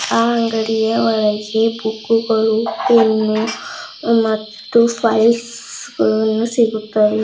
ಆ ಅಂಗಡಿಯ ಒಳಗೆ ಬುಕ್ಕುಗಳು ಪೆನ್ನು ಮತ್ತು ಫೈಲ್ಸ್ ಗಳು ಸಿಗುತ್ತವೆ.